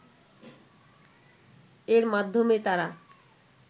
এর মাধ্যমে তারা